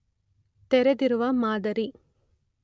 ತೆರೆದಿರುವ ಮಾದರಿ